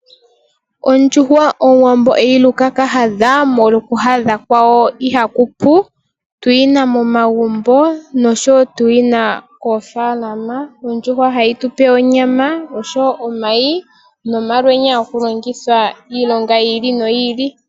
Ondjuhwa omuwambo eyi Luka ka hadhashala omolwa oku hadha kwawo ihaku pu tuyina momagumbo oshowo tuyina koofaalama ondjuhwa ohayi tupe omayi oshowo omalwenya oshowo ohayi longithwa iilinga yi ili noyi ili.